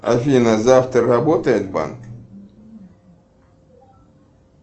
афина завтра работает банк